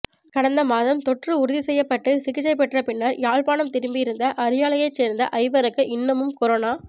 கடந்தமாதம் தொற்று உறுதிப்படுத்தப்பட்டு சிகிச்சை பெற்ற பின்னர் யாழ்ப்பாணம் திரும்பியிருந்த அரியாலையைச் சேர்ந்த ஐவருக்கு இன்னமும் கொரோனா